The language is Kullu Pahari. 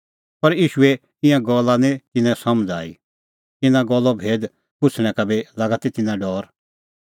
पर ईशूए ईंयां गल्ला निं तिन्नां समझ़ आई इना गल्लो भेद पुछ़णै का बी लागा ती तिन्नां डौर